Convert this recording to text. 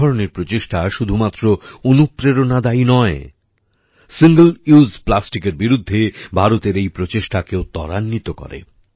এই ধরনের প্রচেষ্টা শুধুমাত্র অনুপ্রেরণাদায়ী নয় সিঙ্গল উসে plasticএর বিরুদ্ধে ভারতের এই প্রচেষ্টাকেও ত্বরান্বিত করে